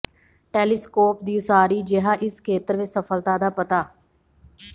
telescope ਦੀ ਉਸਾਰੀ ਜਿਹਾ ਇਸ ਖੇਤਰ ਵਿੱਚ ਸਫਲਤਾ ਦਾ ਪਤਾ